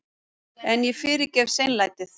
En ég fyrirgef seinlætið.